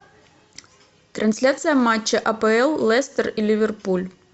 трансляция матча апл лестер и ливерпуль